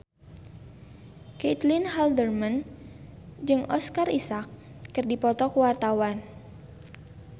Caitlin Halderman jeung Oscar Isaac keur dipoto ku wartawan